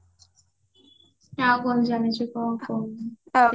ଆଉ କଣ ଯାଣିଚୁ କହ